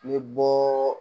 Ni bɔɔ